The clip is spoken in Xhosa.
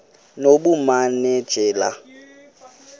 nobumanejala